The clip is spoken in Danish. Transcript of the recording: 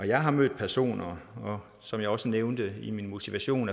jeg har mødt personer og som jeg også nævnte i min motivation